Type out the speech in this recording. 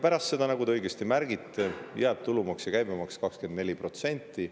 Pärast seda, nagu te õigesti märgite, jäävad tulumaks ja käibemaks 24%‑le.